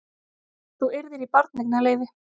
Að þú yrðir í barneignarleyfi.